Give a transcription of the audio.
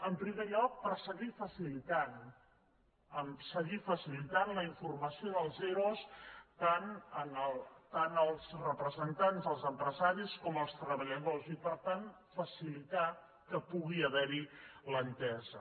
en primer lloc per seguir facilitant la informació dels ero tant als representants dels empresaris com als treballadors i per tant facilitar que pugui ha·ver·hi l’entesa